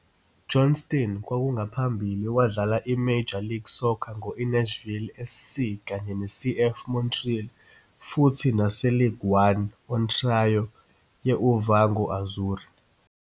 Johnston kwakungaphambili wadlala e-Major League Soccer ngo-INashville SC kanye ne-CF Montreal, futhi nase-League1 Ontario ye-UVaughan Azzurri.